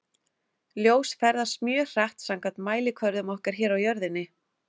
Ljós ferðast mjög hratt samkvæmt mælikvörðum okkar hér á jörðinni.